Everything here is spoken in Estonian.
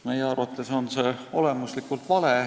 Meie arvates on see olemuslikult vale.